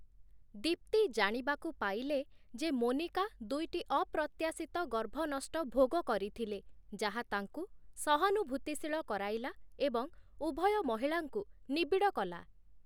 ଦୀପ୍ତି ଜାଣିବାକୁ ପାଇଲେ ଯେ, ମୋନିକା ଦୁଇଟି ଅପ୍ରତ୍ୟାଶିତ ଗର୍ଭନଷ୍ଟ ଭୋଗ କରିଥିଲେ, ଯାହା ତାଙ୍କୁ ସହାନୁଭୂତିଶୀଳ କରାଇଲା ଏବଂ ଉଭୟ ମହିଳାଙ୍କୁ ନିବିଡ଼ କଲା ।